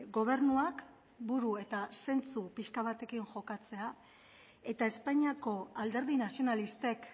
gobernuak buru eta zentsu pixka batekin jokatzea eta espainiako alderdi nazionalistek